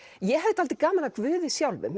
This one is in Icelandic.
ég hafði dálítið gaman af Guði sjálfum